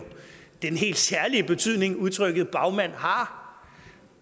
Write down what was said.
den helt særlig betydning som udtrykket bagmand har